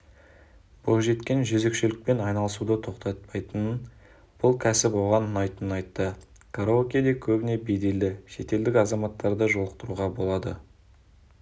бойжеткен жөзекшелікпен айналысуды тоқтатпайтынын бұл кәсіп оған ұнайтынын айтты караокеде көбіне беделді шетелдік азаматтарды жолықтыруға болады